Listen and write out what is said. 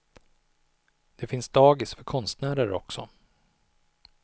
Det finns dagis för konstnärer också.